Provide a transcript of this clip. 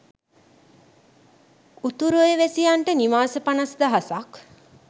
උතුරේ වැසියන්ට නිවාස පණස් දහසක්